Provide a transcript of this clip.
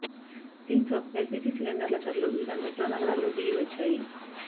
దీంతో ఎల్పిజి సిలిండర్ల ధరలు వివిధ మెట్రో నగరాల్లో దిగి వచ్చాయి